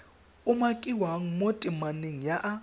umakiwang mo temaneng ya a